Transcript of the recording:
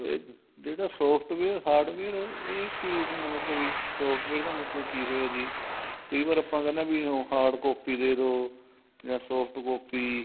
ਇਹ ਜਿਹੜਾ software hardware ਇਹ ਕੀ ਹੁਣ ਨਵਾ software ਦਾ ਮਤਲਬ ਕੀ ਹੋਇਆ ਜੀ ਕਈ ਵਰ ਆਪਾਂ ਕਹਿਨੇ ਆ ਵੀ hard copy ਦੇਦੋ ਜਾਂ soft copy